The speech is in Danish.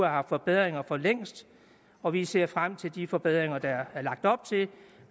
haft forbedringer for længst og vi ser frem til de forbedringer der er lagt op til